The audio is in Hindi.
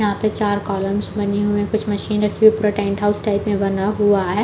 यहाँ पे चार कॉलमस बनी हुई है कुछ मशीन रखी हुई पूरा टेंट हाउस टाइप में बना हुआ है।